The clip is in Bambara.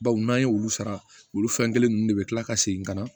Baw n'an ye olu sara olu fɛn kelen ninnu de bɛ kila ka segin ka na